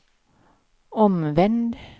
omvänd